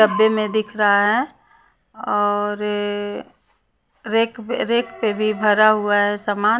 डब्बे में दिख रहा है और रे रेक रेक पे भी भरा हुआ है सामान --